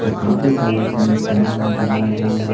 काफी सारे इसमें सामान नजर आ रहे हैं।